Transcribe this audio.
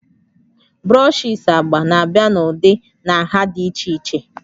brushes agba na-abịa n'ụdị na nha dị iche iche